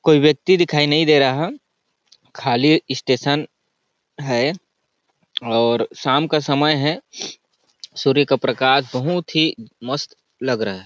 कोई व्यक्ति दिखाई नहीं दे रहा है खाली स्टेशन है और शाम का समय है सूर्य का प्रकाश बहुत ही मस्त लग रहा है।